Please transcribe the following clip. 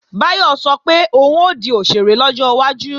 Báyọ̀ sọ pé òun ó di òṣèré lọ́jọ́ iwájú